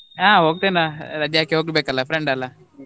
ಹಾ ಹೋಗ್ತೇನಾ ರಜೆ ಹಾಕಿ ಹೋಗ್ಬೇಕಲ್ಲ friend ಅಲ್ಲ.